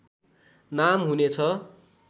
नाम हुनेछ